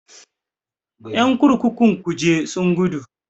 Ƴan kurkukun kuje sun gudu.